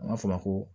An b'a fɔ ma ko